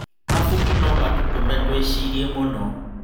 Mabuku no matũtũme twĩcirie mũno.